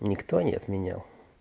никто не отменял